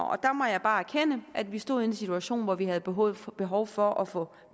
der må jeg bare erkende at vi stod i en situation hvor vi havde behov for behov for at få